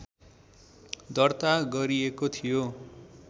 दर्ता गरिएको थियो